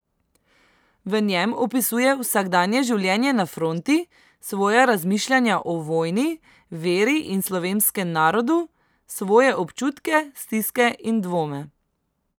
V njem opisuje vsakdanje življenje na fronti, svoja razmišljanja o vojni, veri in slovenskem narodu, svoje občutke, stiske in dvome.